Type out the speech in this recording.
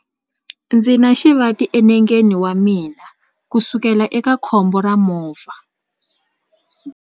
Ndzi na xivati enengeni wa mina kusukela eka khombo ra movha.